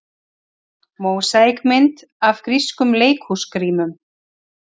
Mósaíkmynd af grískum leikhúsgrímum.